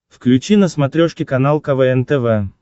включи на смотрешке канал квн тв